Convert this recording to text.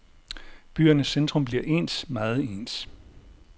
Byernes centrum bliver ens, meget ens.